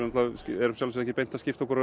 erum ekki beint að skipta okkur af